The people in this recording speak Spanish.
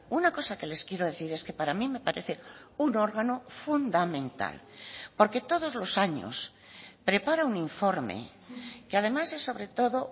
una cosa que les quiero decir es que para mí me parece un órgano fundamental porque todos los años prepara un informe que además es sobre todo